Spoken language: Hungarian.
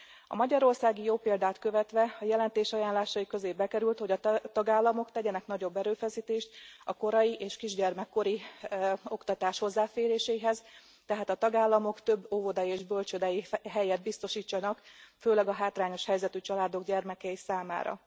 A magyarországi jó példát követve, a jelentés ajánlásai közé bekerült, hogy a tagállamok tegyenek nagyobb erőfeszítést a korai, és kisgyermekkori oktatás hozzáféréséhez, tehát a tagállamok több óvodai és bölcsődei helyet biztosítsanak, főleg a hátrányos helyzetű családok gyermekei számára.